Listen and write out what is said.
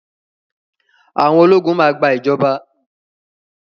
Àwọn ológun máa gba ìjọba.